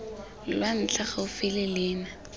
lwa ntlha gaufi le leina